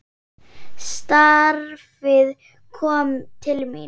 Starfið kom til mín!